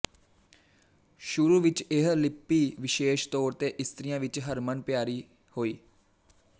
ਸ਼ੁਰੂ ਵਿੱਚ ਇਹ ਲਿਪੀ ਵਿਸ਼ੇਸ਼ ਤੌਰ ਤੇ ਇਸਤਰੀਆਂ ਵਿੱਚ ਹਰਮਨ ਪਿਆਰੀ ਹੋਈ